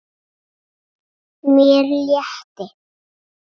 Mér létti.